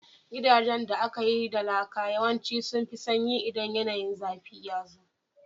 Gidajen da aka yi da laka yawanci sun fi sanyi idan yanayin zafi yazo